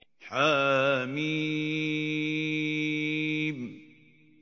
حم